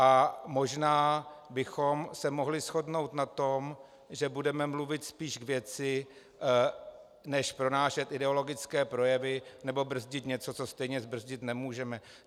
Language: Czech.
A možná bychom se mohli shodnout na tom, že budeme mluvit spíš k věci než pronášet ideologické projevy nebo brzdit něco, co stejně zbrzdit nemůžeme.